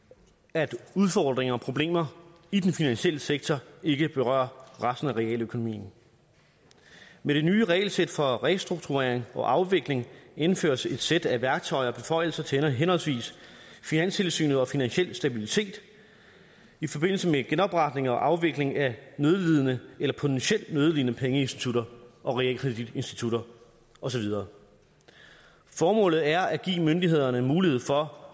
at udfordringer og problemer i den finansielle sektor ikke berører resten af realøkonomien med det nye regelsæt for restrukturering og afvikling indføres et sæt værktøjer og beføjelser til henholdsvis finanstilsynet og finansiel stabilitet i forbindelse med genopretning og afvikling af nødlidende eller potentielt nødlidende pengeinstitutter og realkreditinstitutter og så videre formålet er at give myndighederne mulighed for